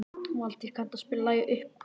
Valtýr, kanntu að spila lagið „Uppboð“?